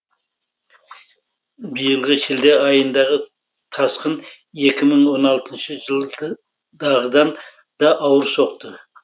биылғы шілде айындағы тасқын екі мың он алтыншы жылдағыдан да ауыр соқты